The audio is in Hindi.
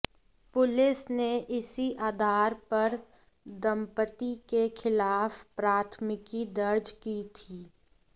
पुलिस ने इसी आधार पर दंपति के खिलाफ प्राथमिकी दर्ज की थी